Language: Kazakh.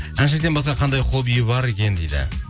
әншіден басқа қандай хоббиі бар екен дейді